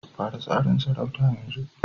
Fara tsarin sarauta yanzu